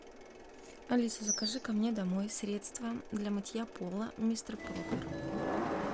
алиса закажи ко мне домой средство дя мытья пола мистер пропер